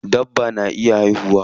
Dabba na iya haihuwa.